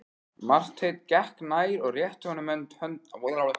Marteinn gekk nær og rétti honum höndina.